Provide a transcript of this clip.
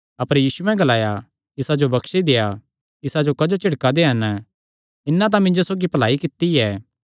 यीशुयैं ग्लाया इसा जो बक्शी देआ इसा जो क्जो झिड़का दे हन इन्नै तां मिन्जो सौगी भलाई कित्ती ऐ